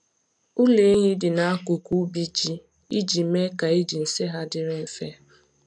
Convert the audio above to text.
Ụlọ ehi dị n’akụkụ ubi ji iji mee ka iji nsị ha dịrị mfe.